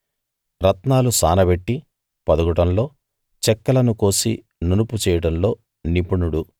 రత్నాలు సానబెట్టి పొదగడంలో చెక్కలను కోసి నునుపు చేయడంలో నిపుణుడు